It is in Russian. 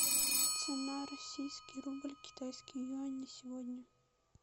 цена российский рубль китайский юань на сегодня